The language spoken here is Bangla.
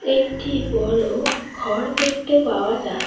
একটি বড় ঘর দেখতে পাওয়া যা--